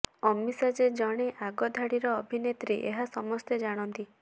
ଅମିଶା ଯେ ଜଣେ ଆଗ ଧାଡ଼ିର ଅଭିନେତ୍ରୀ ଏହା ସମସ୍ତେ ଜାଣନ୍ତି